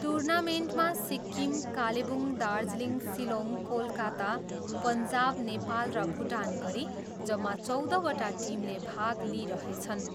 टुर्नामेन्टमा सिक्किम कालेबुङ, दार्जिलिङ, सिलोङ, कोलकत्ता, पन्जाब नेपाल र भुटान गरी जम्मा चौधवटा टिमले भाग लिइरहेछन्।